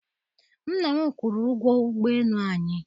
nna m kwụrụ ụgwọ ụgbọ elu anyị